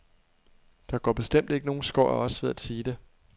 Der går bestemt ikke nogle skår af os ved at sige det.